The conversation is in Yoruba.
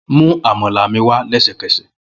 Mu amala mi wa lẹsẹkẹsẹ!